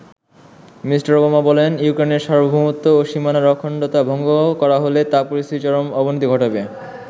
Me. Obama বলেন ইউক্রেনের সার্বভৌমত্ব ও সীমানার অখণ্ডতা ভঙ্গ করা হলে তা পরিস্থিতির চরম অবনতি ঘটাবে।